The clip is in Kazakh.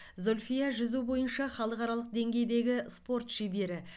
зүльфия жүзу бойынша халықаралық деңгейдегі спорт шебері